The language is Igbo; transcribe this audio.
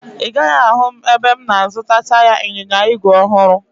Ị gaghị ahụ m ebe m na-azụta taya ịnyịnya igwe ọhụrụ